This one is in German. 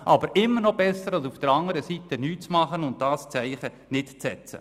Das ist immer noch besser, als nichts zu tun und dieses Zeichen nicht zu setzen.